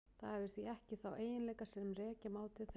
Það hefur því ekki þá eiginleika sem rekja má til þeirra.